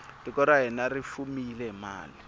tiko ra hina ri fumile hi mali